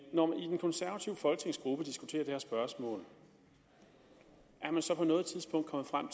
konservative folketingsgruppe diskuterer det her spørgsmål er man så på noget tidspunkt kommet frem